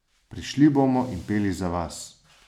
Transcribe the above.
Prišli bomo in peli za vas.